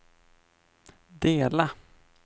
dela